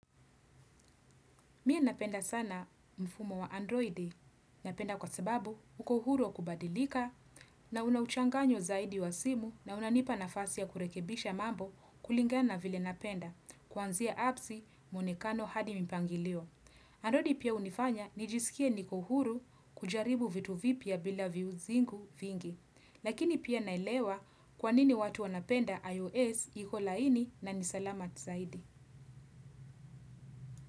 Mie napenda sana mfumo wa Android napenda kwa sababu uko huru wa kubadilika na una uchanganyo zaidi wa simu na unanipa nafasi ya kurekebisha mambo kulingana vile napenda kuanzia appsi mwonekano hadi mpangilio. Androidi pia hunifanya nijisikie niko uhuru kujaribu vitu vipya bila viuzingu vingi. Lakini pia naelewa kwa nini watu wanapenda iOS iko laini na ni salama zaidi.